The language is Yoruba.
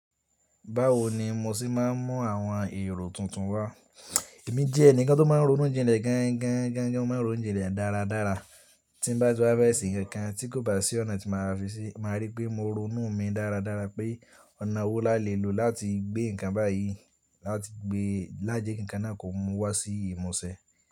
Báwo ni mo ṣe máa ń mú àwọn èrò tuntun wá? Èmi jẹ́ ẹnìkan tó máa ń ronú jinlẹ̀ gan gan gan gan máa ń ronú jinlẹ̀ dáradára. Tí n bá ti wa fe se ǹkan kan tí kò bá sí ọ̀nà tí màá fi ṣí, màá rí pé mo ronú mi dáradára pé ọ̀nà wo la lè lo láti gbé ǹkan báyìí láti gbé lájẹ́ kí ǹkan náà kò mú wá sí ìmọ̀ọ́ṣẹ́.